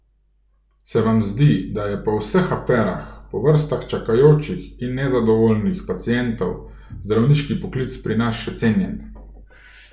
Se vam zdi, da je po vseh aferah, po vrstah čakajočih in nezadovoljnih pacientov, zdravniški poklic pri nas še cenjen?